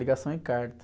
Ligação e carta.